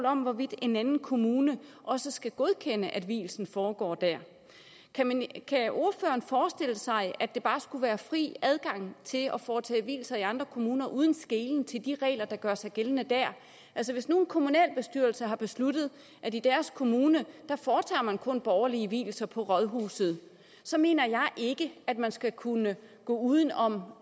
om hvorvidt en anden kommune også skal godkende at vielsen foregår der kan ordføreren forestille sig at der bare skulle være fri adgang til at foretage vielser i andre kommuner uden skelen til de regler der gør sig gældende dér altså hvis nu en kommunalbestyrelse har besluttet at i deres kommune foretager man kun borgerlige vielser på rådhuset så mener jeg ikke at man skal kunne gå uden om